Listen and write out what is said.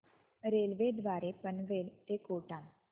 railway द्वारे पनवेल ते कोटा